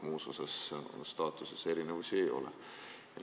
Muus osas staatuses erinevusi ei ole.